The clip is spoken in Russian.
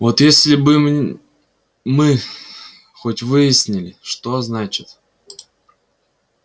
вот если бы мы хоть выяснили что значит